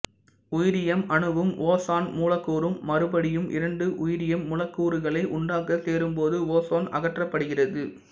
உயிரியம் அணுவும் ஓசோன் மூலக்கூறும் மறுபடியும் இரண்டு உயிரியம் மூலக்கூறுகளை உண்டாக்க சேரும்போது ஓசோன் அகற்றப்படுகிறது